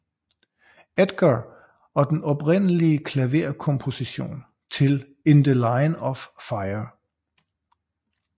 Edgar og den oprindelige klaverkomposition til In the Line of Fire